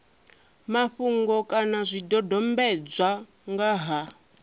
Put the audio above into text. mafhungo kana zwidodombedzwa nga ha